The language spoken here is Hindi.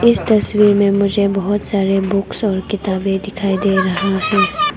इस तस्वीर में मुझे बहुत सारे बुक्स और किताबें दिखाई दे रहा है।